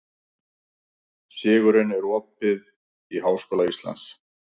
Sigurunn, er opið í Háskóla Íslands?